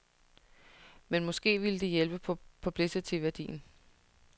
Men måske ville det hjælpe på publicityværdien.